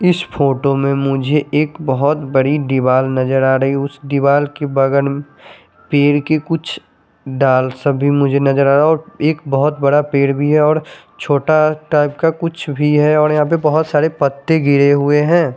इस फ़ोटो में मुझे एक बहोत बड़ी दीवाल नज़र आ रही है उस दीवाल के बगल में पेड़ के कुछ डाल सा भी मुझे नज़र आरा और एक बहोत बड़ा पेड़ भी है और छोटा टाइप का कुछ भी है और यहाँ पे बहोत सारे पत्ते गिरे हुए है।